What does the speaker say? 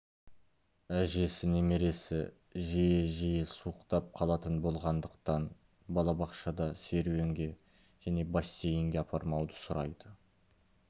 әжесі немересі жиі-жиі суықтап қалатын болғандықтан балабақшада серуенге және бассейнге апармауды сұрайды